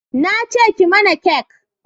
na ce ki mana kek